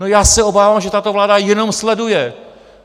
No, já se obávám, že tato vláda jenom sleduje.